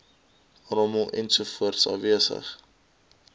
rommel ensovoorts afwesig